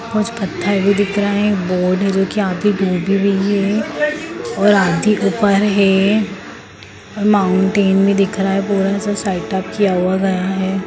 कुछ पत्थर भी दिख है बोर्ड है जो की और आधी ऊपर है माउंटेन भी दिख रहा है पूरा सा सेटअप किया हुआ गया है।